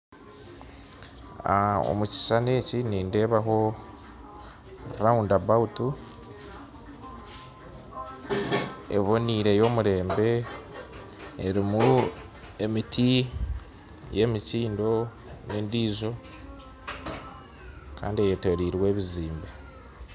Omukishushani eki nindebaho round about eboniire yomurembe erumu emiti y'emikyindo n'endijo Kandi eyetoreirwe ebizimbe.